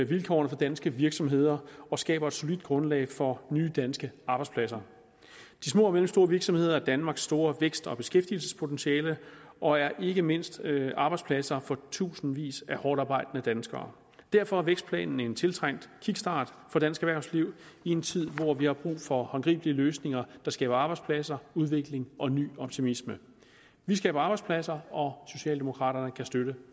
vilkårene for danske virksomheder og skaber et solidt grundlag for nye danske arbejdspladser de små og mellemstore virksomheder er danmarks store vækst og beskæftigelsespotentiale og er ikke mindst arbejdspladser for tusindvis af hårdtarbejdende danskere derfor er vækstplanen en tiltrængt kickstart for dansk erhvervsliv i en tid hvor vi har brug for håndgribelige løsninger der skaber arbejdspladser udvikling og ny optimisme vi skaber arbejdspladser og socialdemokraterne kan støtte